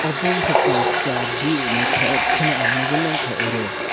obo ungkha kaisa view naithok kheno nukgui mankha oro.